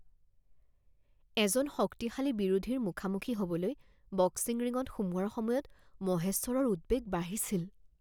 এজন শক্তিশালী বিৰোধীৰ মুখামুখি হ'বলৈ বক্সিং ৰিঙত সোমোৱাৰ সময়ত মহেশ্বৰৰ উদ্বেগ বাঢ়িছিল